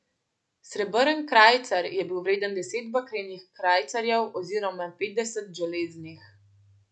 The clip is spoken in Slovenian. Srebrn krajcar je bil vreden deset bakrenih krajcarjev oziroma petdeset železnih.